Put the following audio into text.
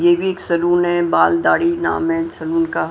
ये भी एक सलून है बाल दाढ़ी नाम है सलून का--